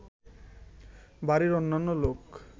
বাড়ির অন্যান্য লোক